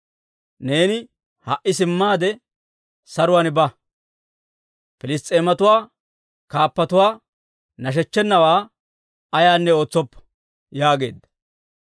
Neeni ha"i simmaade saruwaan ba; Piliss's'eematuwaa kaappatuwaa nashechchenawaa ayinne ootsoppa» yaageedda.